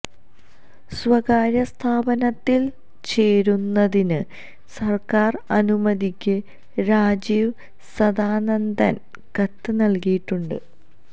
സ്വകാര്യ സ്ഥാപനത്തിൽ ചേരുന്നതിന് സർക്കാർ അനുമതിക്ക് രാജീവ് സദാനന്ദൻ കത്ത് നൽകിയിട്ടുണ്ട്